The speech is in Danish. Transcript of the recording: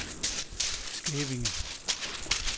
Skævinge